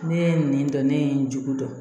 Ne ye nin dɔn ne ye nin dɔn